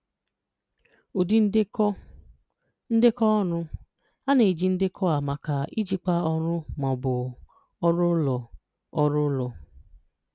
Ụdị Ndekọ: Ndekọ Ọrụ: A na-eji ndekọ a maka ijikwa ọrụ ma ọ bụ ọrụ ụlọ. ọrụ ụlọ.